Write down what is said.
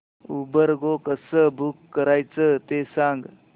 Uber go कसं book करायचं ते सांग